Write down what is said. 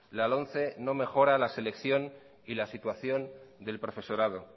la lomce no mejora la selección y la situación del profesorado